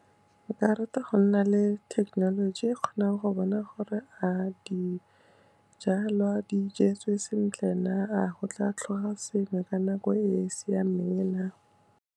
Nka rata go nna le thekenoloji e kgonang go bona gore a dijalwa di jetswe sentle na, a go tla tlhola sengwe ka nako e e siameng na.